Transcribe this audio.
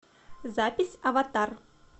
запись аватар